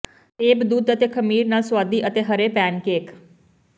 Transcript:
ਸੇਬ ਦੁੱਧ ਅਤੇ ਖਮੀਰ ਨਾਲ ਸੁਆਦੀ ਅਤੇ ਹਰੇ ਪੈਨਕੇਕ